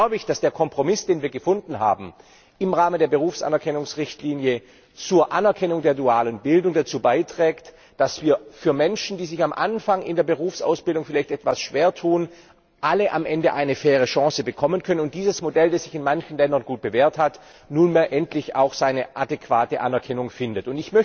Deswegen glaube ich, dass der Kompromiss, den wir im Rahmen der Berufsanerkennungsrichtlinie zur Anerkennung der dualen Bildung gefunden haben, dazu beiträgt, dass Menschen, die sich am Anfang in der Berufsausbildung vielleicht etwas schwertun, alle am Ende eine faire Chance bekommen können und dieses Modell, das sich in manchen Ländern gut bewährt hat, nunmehr endlich auch seine adäquate Anerkennung findet.